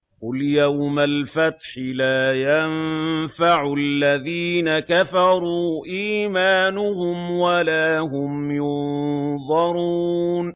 قُلْ يَوْمَ الْفَتْحِ لَا يَنفَعُ الَّذِينَ كَفَرُوا إِيمَانُهُمْ وَلَا هُمْ يُنظَرُونَ